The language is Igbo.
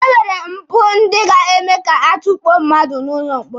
E nwere mpụ ndị ga-eme ka a tukpuo mmadụ n'ụlọ mkpọrọ.